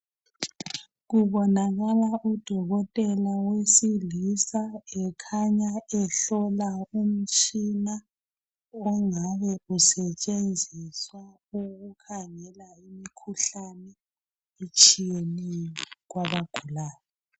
Kubonakala udokotela wesilisa ekhanya ehlola umtshina ongabe usetshenziswa ukukhangela imikhuhlane etshiyeneyo kwabagulayo.